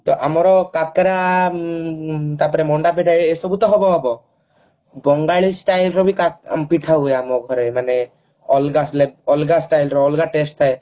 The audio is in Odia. ଆମର କାକରା ଉଁ ତାପରେ ମଣ୍ଡାପିଠା ଏସବୁ ତ ହବ ହବ ବଙ୍ଗାଳୀ style ର ବି କା ପିଠା ହୁଏ ଆମର ମାନେ ଅଲଗା ହେଲେ ଅଲଗା style ର ଅଲଗା test ଥାଏ